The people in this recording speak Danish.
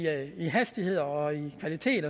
hastighed og kvalitet